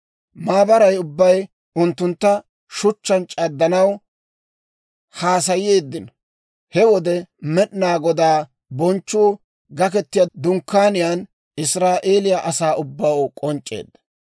Maabaray ubbay unttuntta shuchchaan c'addanaw haasayeeddino. He wode Med'inaa Godaa bonchchuu Gaketiyaa Dunkkaaniyaan Israa'eeliyaa asaa ubbaw k'onc'c'eedda.